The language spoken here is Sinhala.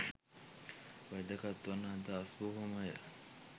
වැදගත් වන අදහස් බොහොමයක්